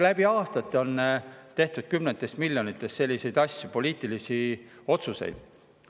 Läbi aastate on tehtud kümnetes miljonites selliseid poliitilisi otsuseid.